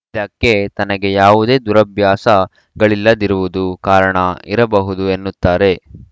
ಇದಕ್ಕೆ ತನಗೆ ಯಾವುದೇ ದುರಾಭ್ಯಾಸಗಳಿಲ್ಲದಿರುವುದು ಕಾರಣ ಇರಬಹುದು ಎನ್ನುತ್ತಾರೆ